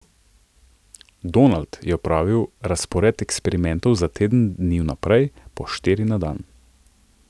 Donald je pripravil razpored eksperimentov za teden dni vnaprej, po štiri na dan.